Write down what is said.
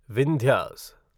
Vindhyas